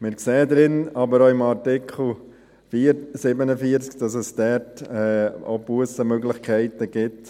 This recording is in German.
Wir sehen aber auch, dass es im Artikel 47 Bussenmöglichkeiten gibt.